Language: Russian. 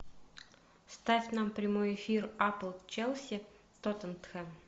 ставь нам прямой эфир апл челси тоттенхэм